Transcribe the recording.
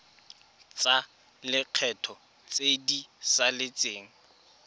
tsa lekgetho tse di saletseng